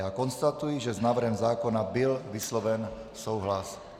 Já konstatuji, že s návrhem zákona byl vysloven souhlas.